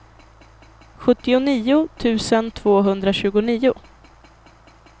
sjuttionio tusen tvåhundratjugonio